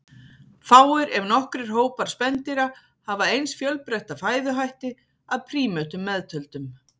Fáir, ef nokkrir, hópar spendýra hafa eins fjölbreytta fæðuhætti, að prímötum meðtöldum.